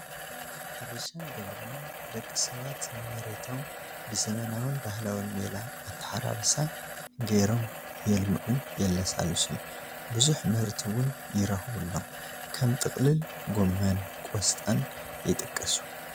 ሕርሻን ግብርናን፡- ደቂ ሰባት ንመሬቶም ብዘበናውን ባህላውን ሜላ ኣታሓራርሳ ገይሮም የልምዑን የለሳሉሱን፡፡ ብዙሕ ምህርቲ ውን ይረኽቡሎም፡፡ ከም ጥቕልል ጎመን፣ ቆስጣን ይጥቀሱ፡፡